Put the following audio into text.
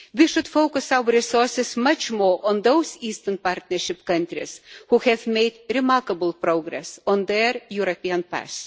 We should focus our resources much more on those Eastern Partnership countries who have made remarkable progress on their European path.